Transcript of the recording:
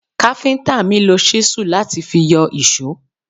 Káfíntà mi lo ṣísù láti fi yọ ìṣó.